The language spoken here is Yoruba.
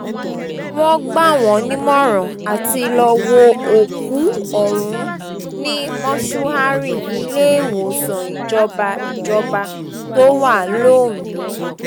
wọ́n gbà wọ́n nímọ̀ràn àti lọ́ọ́ wo òkú ọ̀hún ní mọ́ṣúárì iléewòsàn ìjọba ìjọba tó wà londo